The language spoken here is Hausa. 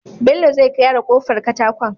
Bello zai gyara kofar katakon